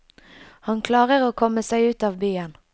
Han klarer å komme seg ut av byen.